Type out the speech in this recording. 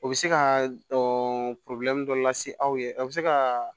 O bɛ se ka dɔ lase aw ye a bɛ se ka